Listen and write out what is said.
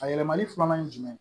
A yɛlɛmali filanan ye jumɛn ye